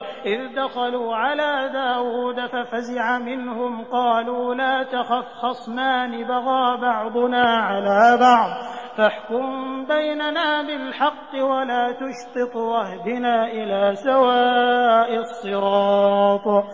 إِذْ دَخَلُوا عَلَىٰ دَاوُودَ فَفَزِعَ مِنْهُمْ ۖ قَالُوا لَا تَخَفْ ۖ خَصْمَانِ بَغَىٰ بَعْضُنَا عَلَىٰ بَعْضٍ فَاحْكُم بَيْنَنَا بِالْحَقِّ وَلَا تُشْطِطْ وَاهْدِنَا إِلَىٰ سَوَاءِ الصِّرَاطِ